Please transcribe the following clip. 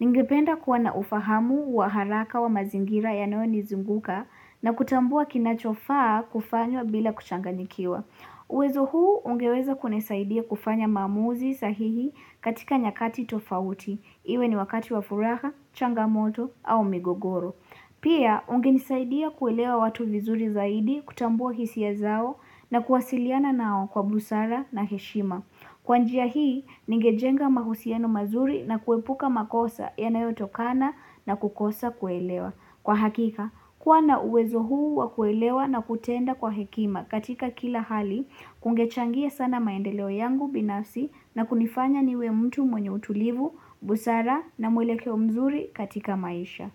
Ningependa kuwa na ufahamu wa haraka wa mazingira yanayonizunguka na kutambua kinachofaa kufanywa bila kuchanganyikiwa. Uwezo huu ungeweza kunisaidia kufanya maamuzi sahihi katika nyakati tofauti. Iwe ni wakati wa furaha, changamoto au migogoro. Pia, ungenisaidia kuelewa watu vizuri zaidi kutambua hisia zao na kuwasiliana nao kwa busara na heshima. Kwa njia hii, ningejenga mahusiano mazuri na kuepuka makosa yanayotokana na kukosa kuelewa. Kwa hakika, kuwa na uwezo huu wa kuelewa na kutenda kwa hekima katika kila hali, kungechangia sana maendeleo yangu binafsi na kunifanya niwe mtu mwenye utulivu, busara na mwelekeo mzuri katika maisha.